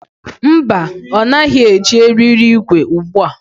Mba, ọ naghị eji eriri igwe ugbu a.